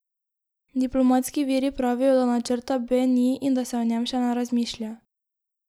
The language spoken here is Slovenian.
Diplomatski viri pravijo, da načrta B ni in da se o njem še ne razmišlja.